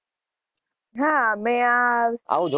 હાં મેં આ